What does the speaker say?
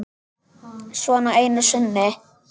Svona einu sinni.